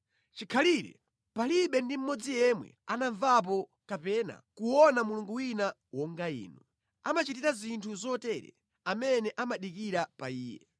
Chikhalire palibe ndi mmodzi yemwe anamvapo kapena kuona Mulungu wina wonga Inu, amene amachitira zinthu zotere amene amadikira pa Iye.